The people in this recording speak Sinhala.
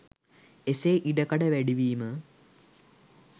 එසේ ඉඩකඩ වැඩිවීම